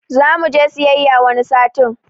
Zamuje siyayya wani sati